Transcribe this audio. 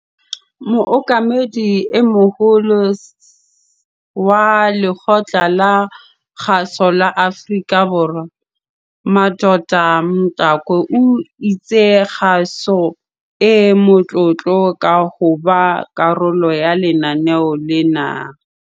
Mookamedi e Moholo wa Lekgotla la Kgaso la Afrika Borwa Madoda Mxakwe o itse kgaso e motlotlo ka hoba karolo ya lenaneo lena.